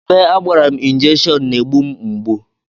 Ebe agbara m injekshon na-na-egbu mgbu